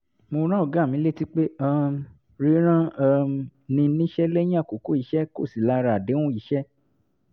mo rán ọ̀gá mi létí pé um rírán um ni níṣẹ́ lẹ́yìn àkókò iṣẹ́ kò sí lára àdéhùn iṣẹ́